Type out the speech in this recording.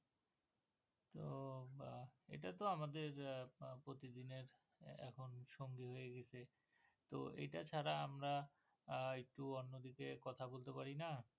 ইটা তোআমাদের প্রতিদিনের এখন সঙ্গী হয়ে গেছে তো এটা ছাড়া আমরা একটু অন্যদিকে কথা বলতে পারিনা